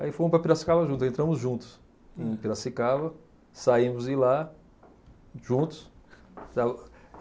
Aí fomos para Piracicaba juntos, entramos juntos em Piracicaba, saímos de lá juntos, para o.